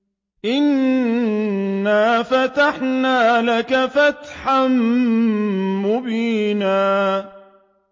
إِنَّا فَتَحْنَا لَكَ فَتْحًا مُّبِينًا